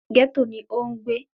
Gẹ́tò ni ó ń gbé